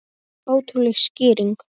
Og aldrei framar gleði.